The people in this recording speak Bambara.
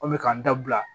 An bɛ k'an da bila